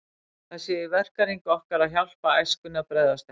Það sé í verkahring okkar að hjálpa æskunni að bregðast ekki.